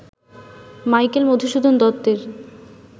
Michael Madhusudan দত্তের